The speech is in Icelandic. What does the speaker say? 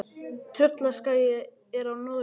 Tröllaskagi er á Norðurlandi.